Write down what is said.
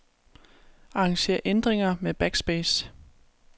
Arranger ændringer med backspace.